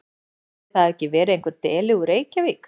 Ætli það hafi ekki verið einhver deli úr Reykjavík.